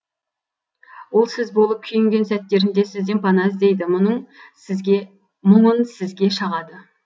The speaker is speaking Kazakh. ол сіз болып күйінген сәттерінде сізден пана іздейді мұңын сізге шағады